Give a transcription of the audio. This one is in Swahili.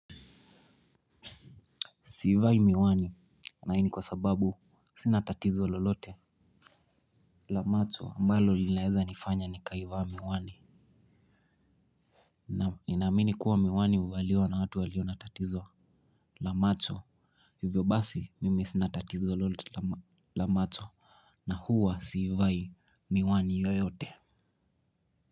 Siivai miwani na ii ni kwa sababu sina tatizo lolote. La macho ambalo linaeza nifanya nikaivaa miwani. Naam ninaamini kuwa miwani huvaliwa na watu walio na tatizo la macho. Hivyo basi mimi sina tatizo lolote la macho na huwa siivai miwani yoyote.